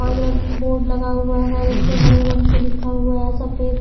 और इधर बोर्ड लगा हुआ है उस पे हरे रंग से लिखा हुआ है सफेद।